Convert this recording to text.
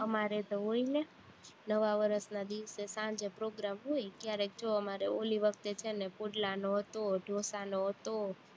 અમારે તો હોય ને નવા વર્ષના દિવસે સાંજે program હોય, ક્યારેક જો અમારે ઓલી વખતે છે ને પુડલાનો હતો, ઢોસાનો હતો